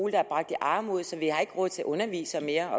er bragt i armod så vi ikke har råd til at undervise mere